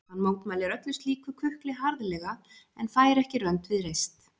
Hann mótmælir öllu slíku kukli harðlega en fær ekki rönd við reist.